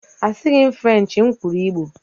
Asịghị m Frenchi, m kwuru igbo